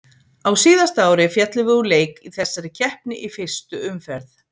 Á síðasta ári féllum við úr leik í þessari keppni í fyrstu umferð.